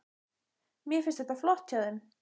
Mér finnst þetta flott hjá þeim.